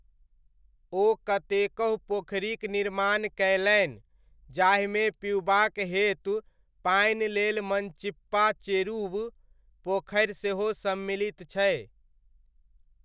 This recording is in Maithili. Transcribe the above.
ओ कतेकहु पोखरिक निर्माण कयलनि, जाहिमे पिउबाक हेतु पानि लेल मनचिप्पा चेरुवु पोखरि सेहो सम्मिलित छै।